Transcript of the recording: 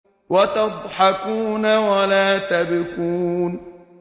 وَتَضْحَكُونَ وَلَا تَبْكُونَ